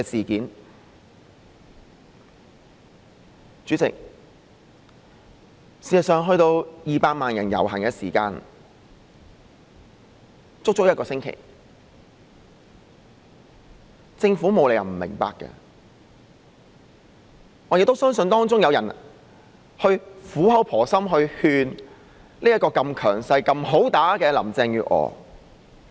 代理主席，事實上，在200萬人遊行之前，政府有足足一星期的時間，她沒有理由不明白，我亦相信有人曾苦口婆心勸這個如此強勢又"好打得"的林鄭月娥。